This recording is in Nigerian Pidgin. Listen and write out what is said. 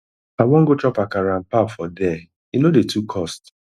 i wan go chop akara and pap for there e no dey too cost